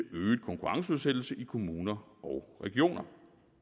øget konkurrenceudsættelse i kommuner og regioner